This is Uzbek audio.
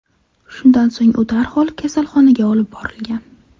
Shundan so‘ng u darhol kasalxonaga olib borilgan.